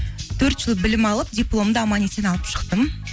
төрт жыл білім алып дипломды аман есен алып шықтым